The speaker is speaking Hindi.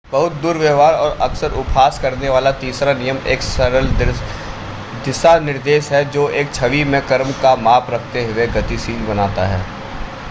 बहुत-दुर्व्यवहार और अक्सर उपहास करने वाला तीसरा नियम एक सरल दिशानिर्देश है जो एक छवि में क्रम का माप रखते हुए गतिशील बनाता है